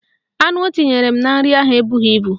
Anu o tinyere m na nri ahụ ebughi ibu